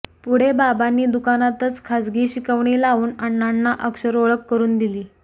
पुढे बाबांनी दुकानातच खाजगी शिकवणी लावून अण्णांना अक्षरओळख करून दिली